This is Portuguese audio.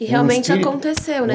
E realmente aconteceu, não é?